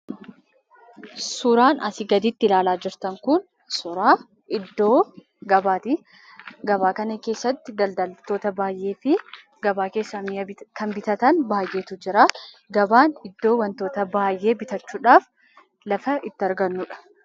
Suuraan asii gaditti ilaalaa jirtan kun suuraa iddoo gabaati. Gabaa kana keessatti daldaltoota baayyeefi gabaa keessaa mi'a kan bitatan baayyeetu jira. Gabaan iddoo wantoota baayyee bitachuudhaaf lafa itti argannudha.